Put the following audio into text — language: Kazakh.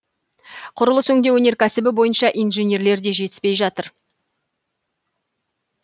құрылыс өңдеу өнеркәсібі бойынша инженерлер де жетіспей жатыр